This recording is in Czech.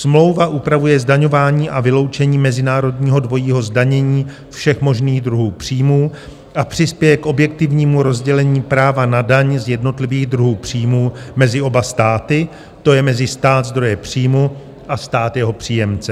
Smlouva upravuje zdaňování a vyloučení mezinárodního dvojího zdanění všech možných druhů příjmů a přispěje k objektivnímu rozdělení práva na daň z jednotlivých druhů příjmů mezi oba státy, to je mezi stát zdroje příjmu a stát jeho příjemce.